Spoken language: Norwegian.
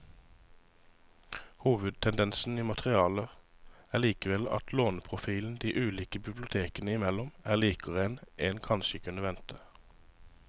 Hovedtendensen i materialet er likevel at låneprofilen de ulike bibliotekene imellom er likere enn en kanskje kunne vente.